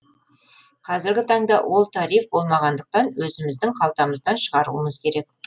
қазіргі таңда ол тариф болмағандықтан өзіміздің қалтамыздан шығаруымыз керек